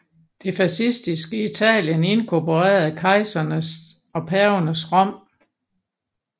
Det fascistiske Italien inkorporerede kejsernes og pavernes Rom